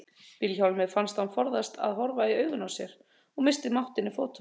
Vilhjálmi fannst hann forðast að horfa í augun á sér og missti máttinn í fótunum.